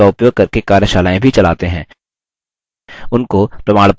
spoken tutorials का उपयोग करके कार्यशालाएँ भी चलाते हैं